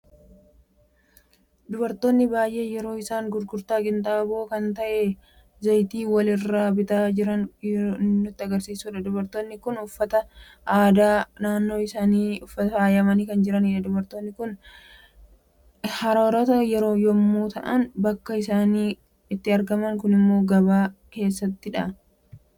Dubartoota baay'ee yeroo isaan gurgurtaa qinxaaboo kan ta'e zayitii wal_irraa bita jiran kan nutti agarsiisuudha. Dubartoonni kun uffata aadaa naannoo isaaniitin faayamani kan jiranidha. Dubartoonni kun hararoota yemmu ta'aan bakki isaan itti argaman kunimmo gabaa keessattidha?